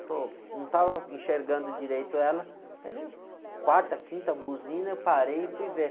Pô, não estava enxergando direito ela, mas era quarta, quinta, buzina, eu parei e fui ver.